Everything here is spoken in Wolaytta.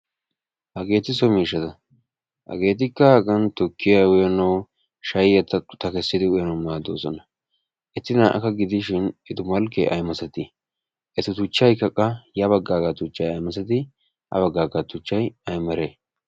Hageeti so miishshaata hagettikka hagan tukkiya uyanawu shayiya tukkissidi uyanawu maaddoosona eti na"akka gidishin eta malkee aymasatii eta tuchchaykka qa yabagaaga tuchchay aymasatii ha bagaaga tuchchay ay mere